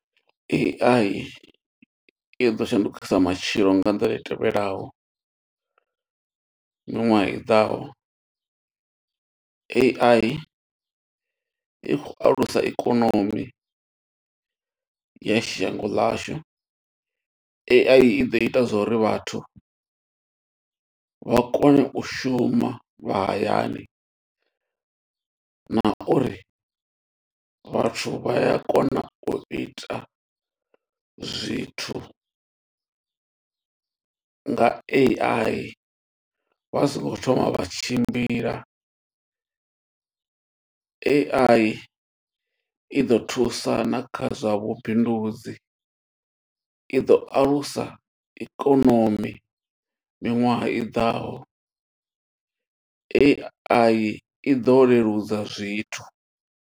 A_I i ḓo shandukisa matshilo nga nḓila i tevhelaho miṅwaha i ḓaho. A_I i khou alusa ikonomi ya shango ḽashu, A_I i ḓo ita zwa uri vhathu vha kone u shuma vha hayani, na uri vhathu vha ya kona u ita zwithu nga A_I vha so ngo thoma vha tshimbila. A_I i ḓo thusa na kha zwa vhubindudzi, i ḓo alusa ikonomi miṅwaha i ḓaho, A_I ḓo leludza zwithu.